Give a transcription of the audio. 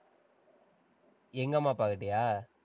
எங்க அம்மா அப்பாகிட்டயா?